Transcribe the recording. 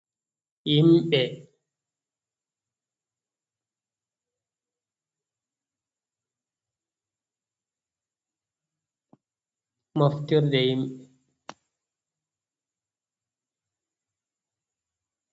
Himɓɓe, moftirde himɓɓe.